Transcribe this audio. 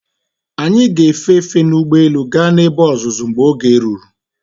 Anyị ga-efe efe n'ugbo élú gaa n'ebe ọzụzụ mgbe oge ruru.